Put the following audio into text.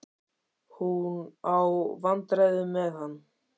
Hún á í vandræðum með hann.